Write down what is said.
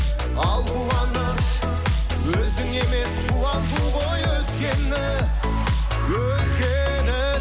ал қуаныш өзің емес қуанту ғой өзгені өзгені